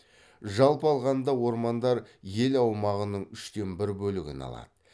жалпы алғанда ормандар ел аумағының үштен бір бөлігін алады